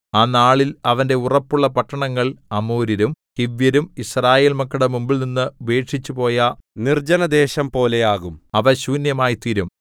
ആ നാളിൽ അവന്റെ ഉറപ്പുള്ള പട്ടണങ്ങൾ അമോര്യരും ഹിവ്യരും യിസ്രായേൽ മക്കളുടെ മുമ്പിൽനിന്ന് ഉപേക്ഷിച്ചുപോയ നിർജ്ജനദേശം പോലെയാകും അവ ശൂന്യമായിത്തീരും